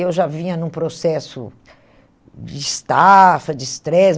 Eu já vinha num processo de estafa, de estresse.